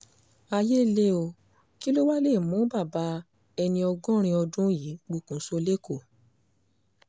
ayé le o kí ló wá lè mú bàbá ẹni ọgọ́rin ọdún yìí pokùnso lékòó